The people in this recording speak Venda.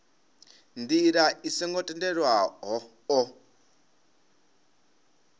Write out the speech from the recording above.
ndila i songo tendelwaho o